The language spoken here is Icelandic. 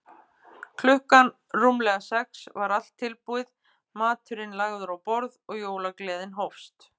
Klukkan rúmlega sex var allt tilbúið, maturinn lagður á borð og jólagleðin hófst.